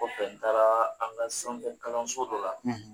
kɔfɛ n taara an ka sanfɛ kalanso dɔ la